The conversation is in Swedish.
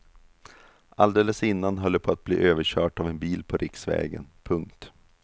Alldeles innan höll det på att bli överkört av en bil på riksvägen. punkt